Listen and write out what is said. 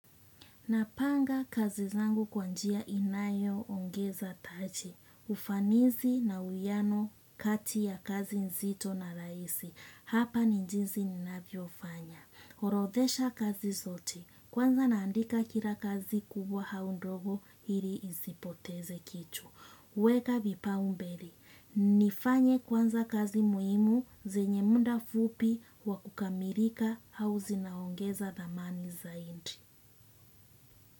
Napanga kazi zangu kwa njia inayoongeza taji, ufanisi na uwiano kati ya kazi nzito na rahisi, hapa ni jinsi ninavyofanya. Orothesha kazi zote. Kwanza naandika kila kazi kubwa au ndogo ili isipoteze kitu. Weka vipaumbele, nifanye kwanza kazi muhimu zenye muda fupi wa kukamilika au zinaongeza thamani zaidi.